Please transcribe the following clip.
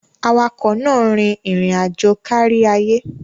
Awakọ̀ náà rìn irin aajo káríayé